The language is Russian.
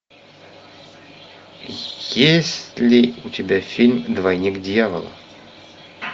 есть ли у тебя фильм двойник дьявола